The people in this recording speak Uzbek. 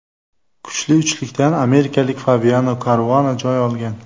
Kuchli uchlikdan amerikalik Fabiano Karuana joy olgan.